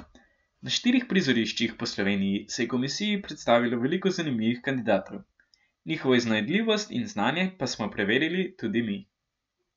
Na štirih prizoriščih po Sloveniji se je komisiji predstavilo veliko zanimivih kandidatov, njihovo iznajdljivost in znanje pa smo preverili tudi mi.